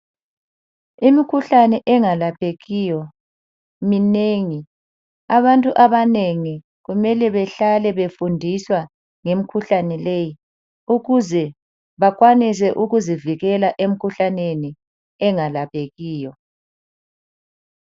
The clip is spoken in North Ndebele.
Imikhuhlane engalaphekiyo minengi. Abantu abanengi kumele behlale befundiswa ngemikhuhlane leyi ukuze bakwanise ukuzivikela emikhuhlaneni engalaphekiyo.